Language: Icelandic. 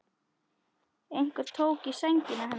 Einhver tók í sængina hennar.